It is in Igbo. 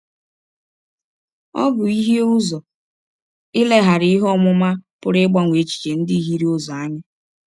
Ọ bụ ihie ụzọ, ileghara ihe ọmụma pụrụ ịgbanwe echiche ndị hiere ụzọ, anya.